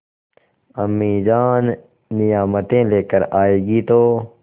अम्मीजान नियामतें लेकर आएँगी तो